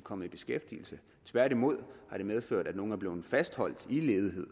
kommet i beskæftigelse tværtimod har det medført at nogle er blevet fastholdt i ledighed